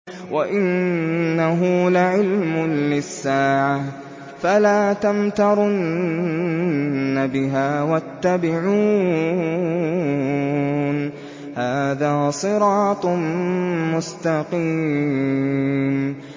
وَإِنَّهُ لَعِلْمٌ لِّلسَّاعَةِ فَلَا تَمْتَرُنَّ بِهَا وَاتَّبِعُونِ ۚ هَٰذَا صِرَاطٌ مُّسْتَقِيمٌ